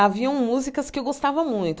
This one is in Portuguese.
Haviam músicas que eu gostava muito.